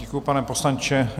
Děkuji, pane poslanče.